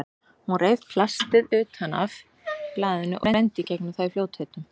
Hún reif plastið utan af blaðinu og renndi í gegnum það í fljótheitum.